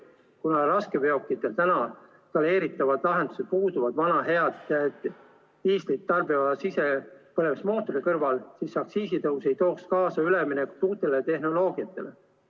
Kuna raskeveokitel praegu vana head diislikütust tarbiva sisepõlemismootori kõrval planeeritavad lahendused puuduvad, siis aktsiisitõus ei tooks kaasa üleminekut uutele tehnoloogiatele.